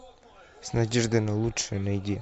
с надеждой на лучшее найди